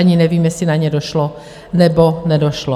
Ani nevím, jestli na ně došlo, nebo nedošlo.